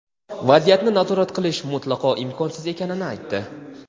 vaziyatni nazorat qilish mutlaqo imkonsiz ekanini aytdi.